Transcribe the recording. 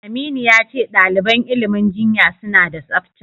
Aminu ya ce ɗaliban ilimin jinya suna da tsafta.